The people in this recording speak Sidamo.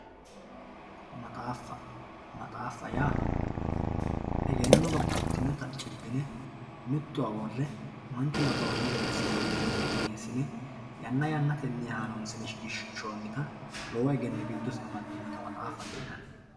maxaafa maxaafa yaa egenno babbaxitinota cibbine mittowa worre manchu nabawanno gede assine biifinse qineesine yanna yannatenni haroonsine shiqinshooniha lowo egenno giddose ammadinota maxaafate yinanni.